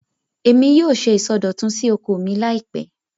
Èmi yóò ṣe ìsọdọ̀tun sí oko mi láìpẹ́